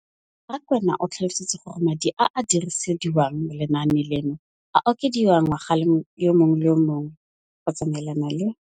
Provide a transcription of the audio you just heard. Rakwena o tlhalositse gore madi a a dirisediwang lenaane leno a okediwa ngwaga yo mongwe le yo mongwe go tsamaelana le